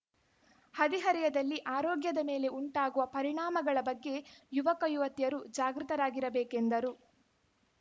ಹದಿಹರೆಯದಲ್ಲಿ ಆರೋಗ್ಯದ ಮೇಲೆ ಉಂಟಾಗುವ ಪರಿಣಾಮಗಳ ಬಗ್ಗೆ ಯುವಕ ಯುವತಿಯರು ಜಾಗೃತರಾಗಿರಬೇಕೆಂದರು